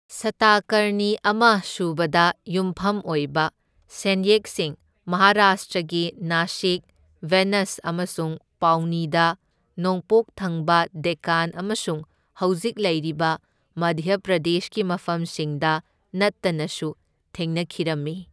ꯁꯇꯀꯔꯅꯤ ꯑꯃ ꯁꯨꯕꯗ ꯌꯨꯝꯐꯝ ꯑꯣꯏꯕ ꯁꯦꯟꯌꯦꯛꯁꯤꯡ ꯃꯍꯔꯥꯁꯇ꯭ꯔꯒꯤ ꯅꯁꯤꯛ, ꯅꯦꯚꯁ ꯑꯃꯁꯨꯡ ꯄꯥꯎꯅꯤꯗ ꯅꯣꯡꯄꯣꯛ ꯊꯪꯕ ꯗꯦꯛꯀꯥꯟ ꯑꯃꯁꯨꯡ ꯍꯧꯖꯤꯛ ꯂꯩꯔꯤꯕ ꯃꯙ꯭ꯌ ꯄ꯭ꯔꯗꯦꯁꯀꯤ ꯃꯐꯝꯁꯤꯡꯗ ꯅꯠꯇꯅꯁꯨ ꯊꯦꯡꯅꯈꯤꯔꯝꯃꯤ꯫